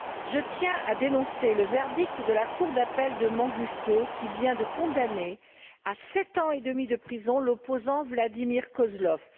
Je tiens à dénoncer le verdict de la Cour d'appel de Manguistaou, qui vient de condamner à sept ans et demi de prison l'opposant Vladimir Kozlov.